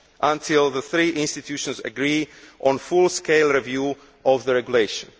until the three institutions agree on full scale review of the regulation.